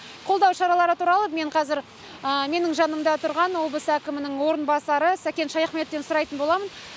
қолдау шаралары туралы мен қазір менің жанымда тұрған облыс әкімінің орынбасары сәкен шаяхметовтен сұрайтын боламын